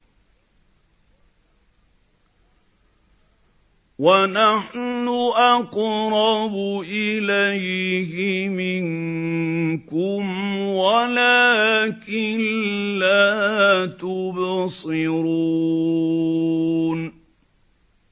وَنَحْنُ أَقْرَبُ إِلَيْهِ مِنكُمْ وَلَٰكِن لَّا تُبْصِرُونَ